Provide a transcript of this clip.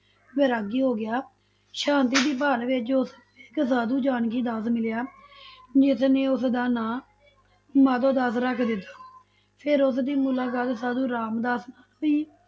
ਵੈਰਾਗੀ ਹੋ ਗਿਆ, ਸ਼ਾਂਤੀ ਦੀ ਭਾਲ ਵਿਚ ਉਸਨੂੰ ਇਕ ਸਾਧੂ ਜਾਨਕੀ ਦਾਸ ਮਿਲਿਆ ਜਿਸਨੇ ਉਸਦਾ ਨਾਂ ਮਾਧੋ ਦਾਸ ਰਖ ਦਿਤਾ, ਫਿਰ ਉਸਦੀ ਮੁਲਾਕਾਤ ਸਾਧੂ ਰਾਮਦਾਸ ਸੀ